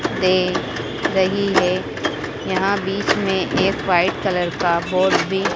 दे रही है यहां बीच में एक वाइट कलर का बोर्ड भी--